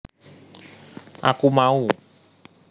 Aku Mau